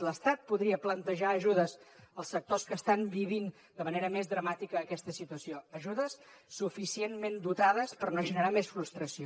l’estat podria plantejar ajudes als sectors que estan vivint de manera més dramàtica aquesta situació ajudes suficientment dotades per no generar més frustració